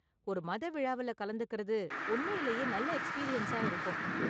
ஒரு மத விழாவுல கலந்துக்கறது உண்மையிலேயே நல்ல எக்ஸ்பீரியன்ஸா இருக்கும்.